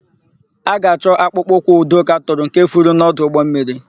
A ga-achọ akpụkpọ ụkwụ Udoka tụrụ nke furu n'ọdụ ụgbọmmiri.